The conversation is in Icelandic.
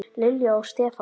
Lilja og Stefán.